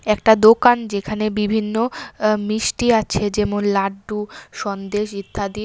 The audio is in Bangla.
একটা দোকান যেখানে বিভিন্ন আ মিষ্টি আছে যেমন লাড্ডু সন্দেশ ইত্যাদি।